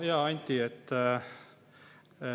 Hea Anti!